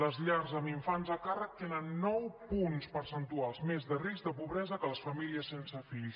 les llars amb infants a càrrec tenen nou punts percentuals més de risc de pobresa que les famílies sense fills